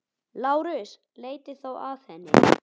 LÁRUS: Leitið þá að henni.